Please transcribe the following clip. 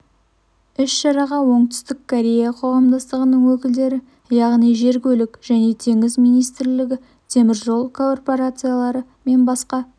іс-шараға оңтүстік корея қоғамдастығының өкілдері яғни жер көлік және теңіз министрлігі теміржол корпорациялары мен басқа